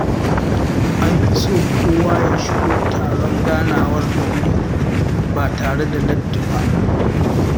An fi so kowa ya shigo taron ganawar da wuri ba tare da latti ba